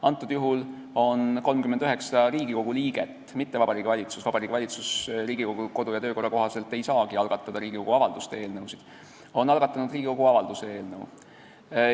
Antud juhul on 39 Riigikogu liiget, mitte Vabariigi Valitsus – Vabariigi Valitsus ei saagi Riigikogu kodu- ja töökorra seaduse kohaselt algatada Riigikogu avalduse eelnõu –, algatanud Riigikogu avalduse eelnõu.